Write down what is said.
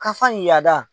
Kafan yada